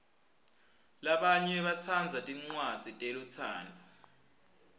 labanye batsandza tincwadzi telutsandvo